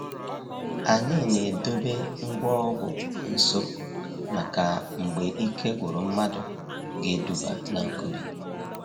Anyị na-edobe ngwa ọgwụ nso maka mgbe ike gwụrụ mmadụ ga-eduba na nkubi